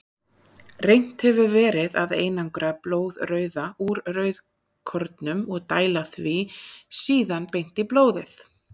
Reynt hefur verið að einangra blóðrauða úr rauðkornum og dæla því síðan beint í blóðið.